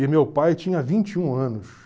E meu pai tinha vinte e um anos.